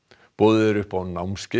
boðið er upp á námskeið